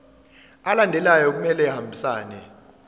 alandelayo kumele ahambisane